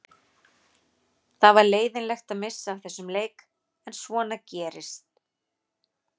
Það var leiðinlegt að missa af þessum leik en svona gerist.